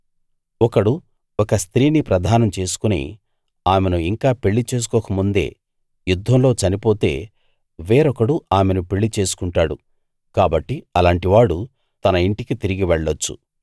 ఒకడు ఒక స్త్రీని ప్రదానం చేసుకుని ఆమెను ఇంకా పెళ్లి చేసుకోకముందే యుద్ధంలో చనిపోతే వేరొకడు ఆమెను పెళ్లిచేసుకుంటాడు కాబట్టి అలాంటివాడు తన ఇంటికి తిరిగి వెళ్ళొచ్చు